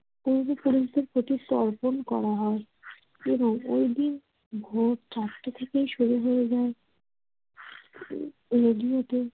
পূর্বপুরুষদের প্রতি এটি অর্পণ করা হয় এবং ঐদিন ভোর চারটা থেকে শুরু হয়ে যায় রেডিওতে